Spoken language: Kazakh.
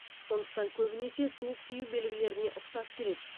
сондықтан көбінесе суық тию белгілеріне ұқсас келеді